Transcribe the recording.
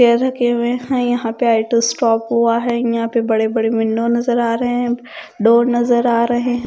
रखे हुए हैं यहां पे आई टू स्टॉप हुआ है यहां पे बड़े-बड़े विंडो नजर आ रहे हैं डोर नजर आ रहे हैं।